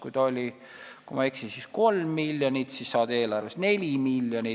Kui ma ei eksi, siis kõigepealt oli eelarves 3 miljonit, siis saadi 4 miljonit.